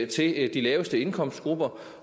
til de laveste indkomstgrupper